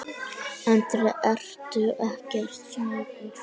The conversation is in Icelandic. Andri: Ertu ekkert smeykur?